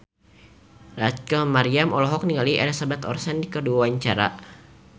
Rachel Maryam olohok ningali Elizabeth Olsen keur diwawancara